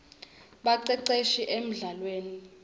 baceceshi emldlalweni